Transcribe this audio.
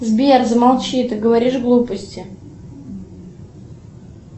сбер замолчи ты говоришь глупости